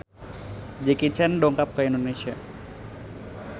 Jackie Chan dongkap ka Indonesia